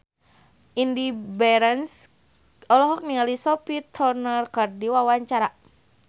Indy Barens olohok ningali Sophie Turner keur diwawancara